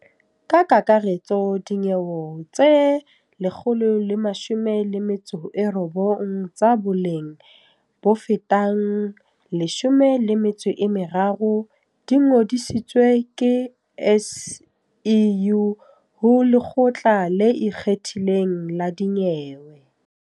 Ka kakaretso dinyewe tse 119 tsa boleng bofetang R13 bilione di ngodisitswe ke SIU ho Lekgotla le Ikgethileng la Dinyewe.